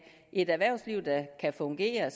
et erhvervsliv der kan fungere